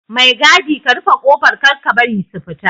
Mai gadi ka rufe kofar Kar ka bari su fita